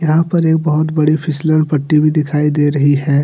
यहां पर एक बहुत बड़ी फिसलन पट्टी भी दिखाई दे रही है।